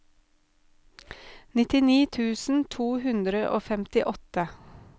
nittini tusen to hundre og femtiåtte